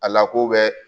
A lako bɛ